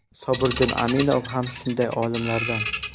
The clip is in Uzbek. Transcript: Sobirjon Aminov ham shunday olimlardan.